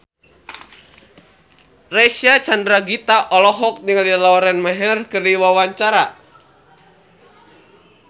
Reysa Chandragitta olohok ningali Lauren Maher keur diwawancara